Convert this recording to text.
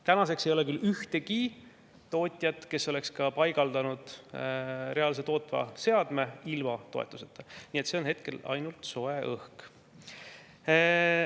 Tänaseks ei ole küll ühtegi tootjat, kes oleks paigaldanud reaalse tootva seadme ilma toetuseta, nii et see on hetkel ainult soe õhk.